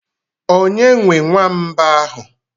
Onye nwee nwamba ahụ?